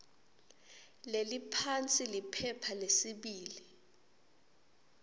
leliphansi liphepha lesibili